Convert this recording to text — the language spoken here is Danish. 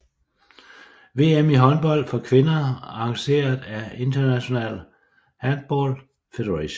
VM i håndbold for kvinder arrangeret af International Handball Federation